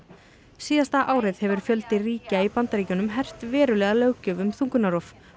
síðasta árið hefur fjöldi ríkja í Bandaríkjunum hert verulega löggjöf um þungunarrof